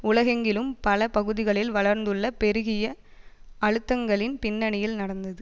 உலகெங்கிலும் பல பகுதிகளில் வளர்ந்துள்ள பெருகிய அழுத்தங்களின் பின்னணியில் நடந்தது